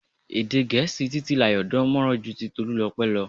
Èdè Gẹ̀ẹ́sì Titilayo dán mọran ju ti Tolulope lọ.